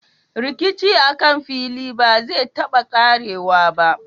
Rikici akan fili ba zai taba ƙarewa ba.